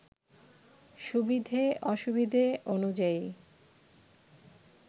সুবিধে অসুবিধে অনুযায়ী